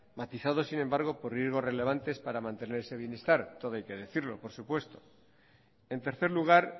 matizado sin embargo por riesgos relevantes para mantener ese bienestar todo hay que decirlo por supuesto en tercer lugar